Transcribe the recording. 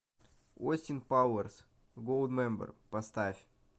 остин пауэрс голдмембер поставь